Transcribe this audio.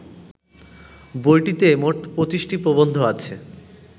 বইটিতে মোট ২৫টি প্রবন্ধ আছে